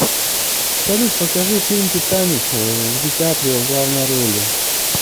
салют покажи фильм титаник в ди каприо в главной роли